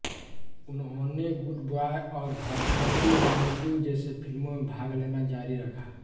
उन्होंने good boy और भद्रदी रामुडू जैसे फिल्मों में भाग लेना जारी रखा